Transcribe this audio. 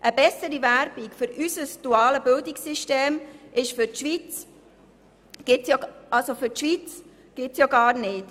Eine bessere Werbung für unser duales Bildungssystem gibt es gar nicht.